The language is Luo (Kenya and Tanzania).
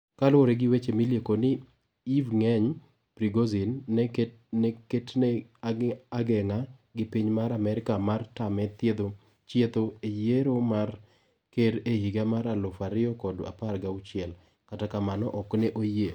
Kaluore gi weche milieko ni Evgeny Prigozin no ketne agenga gi piny mar Amerka mar tame chietho e yiero mar ker ehiga mar alufu a riyo kod apar gauchiel ,kata kamano ok ne oyie.